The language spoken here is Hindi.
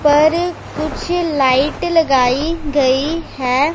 ऊपर कुछ लाइट लगाई गईं हैं।